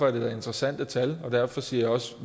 er det da interessante tal og derfor siger jeg også